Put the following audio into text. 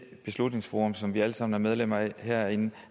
beslutningsforum som vi alle sammen er medlemmer af herinde